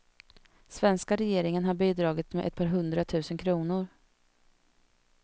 Svenska regeringen har bidragit med ett par hundra tusen kronor.